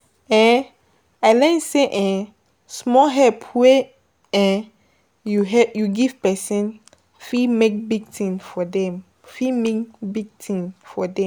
um I learn sey um small help wey [um]you help you give person, fit make big tin for dem fit mean big tin for dem